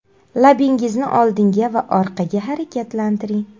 Labingizni oldinga va orqaga harakatlantiring.